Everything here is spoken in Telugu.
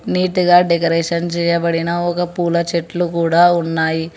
నీటిగా డెకరేషన్ చేయబడిన ఒక పూల చెట్లు కూడా ఉన్నాయి.